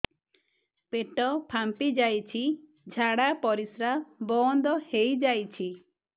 ପେଟ ଫାମ୍ପି ଯାଇଛି ଝାଡ଼ା ପରିସ୍ରା ବନ୍ଦ ହେଇଯାଇଛି